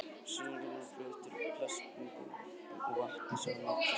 Silungurinn var fluttur í plastumbúðum og vatni sem í var mikið súrefni.